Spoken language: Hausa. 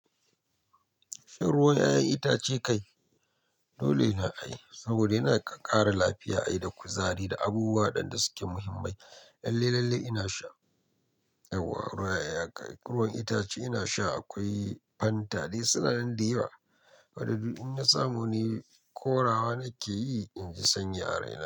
Shan ruwan 'ya'yan itace kai? Dole na ai, saboda yana ƙara lafiya ai da kuzari da abubuwa ɗan da suke muhimmai. Lalle, lalle ina sha. Yauwa, ruwan 'ya'yan itace ina sha akwai Fanta dai suna nan da yawa. Wani bi in na samu dai korawa nake yi in ji sanyi a rai na.